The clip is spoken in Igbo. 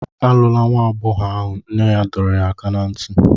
Alụla nwa agbọghọ ahụ, nne ya dọrọ ya aka ná ntị.